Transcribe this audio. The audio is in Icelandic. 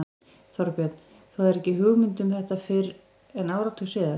Þorbjörn: Þú hafðir ekki hugmynd um þetta fyrr en áratug síðar?